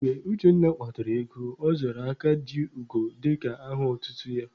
Mgbe Uchenna kpatara ego, ọ zara Aka ji ugo dịka aha otutu ya.